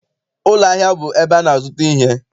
Ụlọahịa bụ ebe a na-azụta ihe.